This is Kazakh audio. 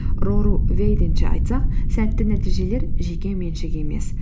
рору вейденше айтсақ сәтті нәтижелер жекеменшік емес